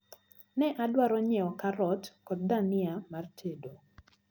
Ne adwaro nyiewo karot kod dania mar tedo.